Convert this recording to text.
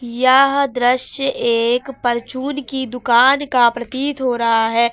यह दृश्य एक परचून की दुकान का प्रतीत हो रहा है।